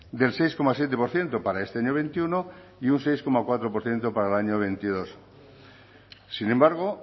del seis coma siete por ciento para este año veintiuno y un seis coma cuatro por ciento para el año veintidós sin embargo